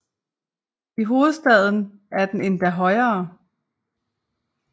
I hovedstaden er den endda højere